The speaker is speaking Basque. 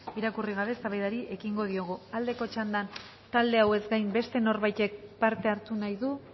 irakurri gabe eztabaidari ekingo diogu aldeko txandan talde hauez gain beste norbaitek parte hartu nahi du